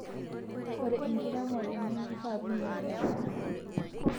Ore enkiremore nemishaa pinyal emanyara